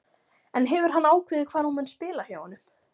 En hefur hann ákveðið hvar hún mun spila hjá honum?